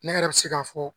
Ne yɛrɛ bɛ se k'a fɔ